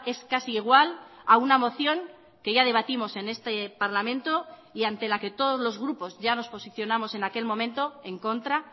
es casi igual a una moción que ya debatimos en este parlamento y ante la que todos los grupos ya nos posicionamos en aquel momento en contra